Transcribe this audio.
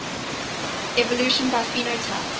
evolution by phenotype